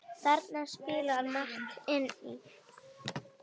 Þarna spilar margt inn í.